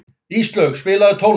Íslaug, spilaðu tónlist.